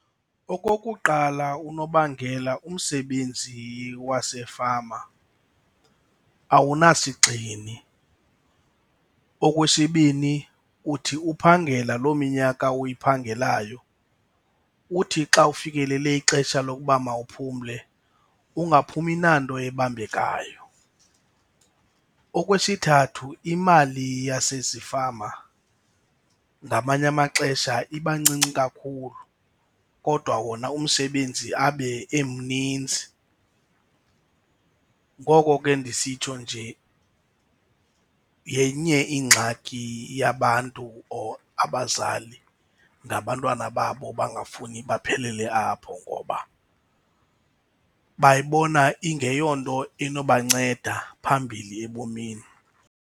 Okokuqala unobangela, umsebenzi wasefama awunasigxini. Okwesibini uthi uphangela loo minyaka uyiphangelayo uthi xa ufikelele ixesha lokuba mawuphumle, ungaphumi nanto ibambekayo. Okwesithathu imali yasezifama ngamanye amaxesha iba ncinci kakhulu kodwa wona umsebenzi abe emninzi. Ngoko ke ndisitsho nje yenye ingxaki yabantu or abazali nabantwana babo bangafuni baphelele apho ngoba bayibona ingeyonto inobanceda phambili ebomini.